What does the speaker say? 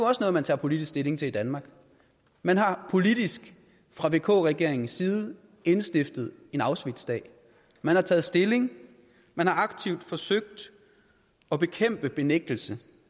også noget man tager politisk stilling til i danmark man har politisk fra vk regeringens side indstiftet en auschwitzdag man har taget stilling man har aktivt forsøgt at bekæmpe benægtelse